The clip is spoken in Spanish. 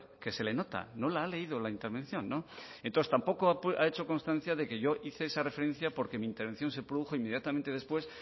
que se le nota no la ha leído la intervención entonces tampoco ha hecho constancia de que yo hice esa referencia porque mi intervención se produjo inmediatamente después